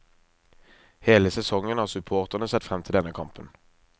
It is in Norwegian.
Hele sesongen har supporterne sett frem til denne kampen.